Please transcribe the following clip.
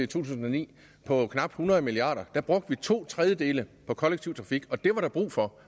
tusind og ni på knap hundrede milliard kr brugte vi to tredjedele på kollektiv trafik og det var der brug for